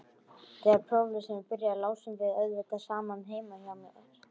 Þegar próflesturinn byrjaði lásum við auðvitað saman heima hjá mér.